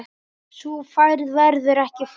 Sú ferð verður ekki farin.